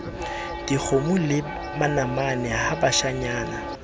dikgomo le manamane ha bashanyana